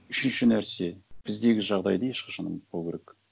үшінші нәрсе біздегі жағдайды ешқашан ұмытпау керек